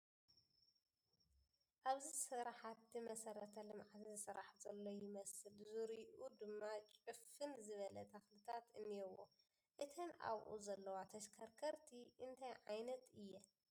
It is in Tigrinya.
ኣብዚ ስራሕቲ መሰረተ ልምዓት ዝስራሕ ዘሎ ይመስል ዙሩዩኡ ድማ ጭፍን ዝበለ ተኽልታት እንኤዎ ፡ እተን ኣብኡ ዘለዋ ተሽከርከርቲ እንታይ ዓይነት እየን ?